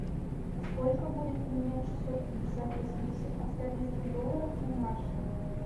сколько будет поменять шестьсот пятьдесят восемьдесят австралийских долларов на наши